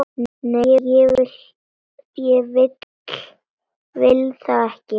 Nei, ég vil það ekki.